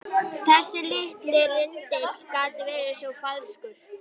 Þessi litli rindill gat verið svo falskur.